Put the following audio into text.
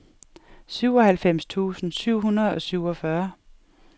syvoghalvfems tusind syv hundrede og syvogfyrre